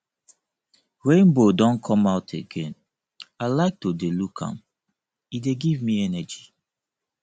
rainbow don come out again i like to dey look am e dey give me energy